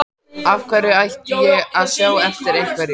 Af hverju ætti ég að sjá eftir einhverju?